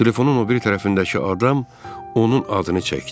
Telefonun o biri tərəfindəki adam onun adını çəkdi.